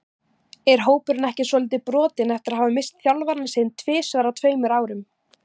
Er hópurinn ekki svolítið brotinn eftir að hafa misst þjálfarann sinn tvisvar á tveimur árum?